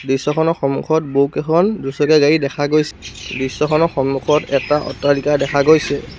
দৃশ্যখনৰ সন্মুখত বহুকেইখন দুচকীয়া গাড়ী দেখা গৈছে দৃশ্যখনৰ সন্মুখত এটা অট্টালিকা দেখা গৈছে।